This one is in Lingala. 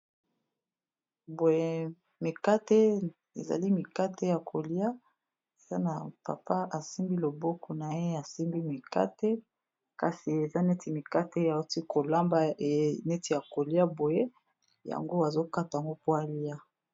Boye mikate ezali mikate ya kolia sa na papa asimbi loboko na ye ,asimbi mikate kasi eza neti mikate auti kolamba neti ya kolia boye yango azokata ngo po alia.